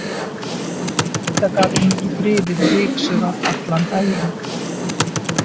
Auðvitað gat hún ekki þrifið og ryksugað allan daginn.